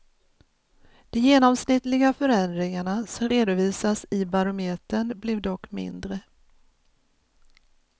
De genomsnittliga förändringarna, som redovisas i barometern, blev dock mindre.